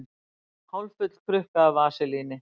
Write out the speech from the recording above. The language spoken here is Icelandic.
Hálffull krukka af vaselíni.